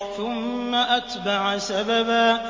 ثُمَّ أَتْبَعَ سَبَبًا